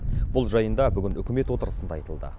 бұл жайында бүгін үкімет отырысында айтылды